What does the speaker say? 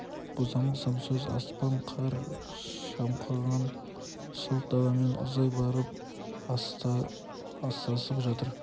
бозамық самсоз аспан ақ қар шымқанған сұлқ даламен ұзай барып астасып жатыр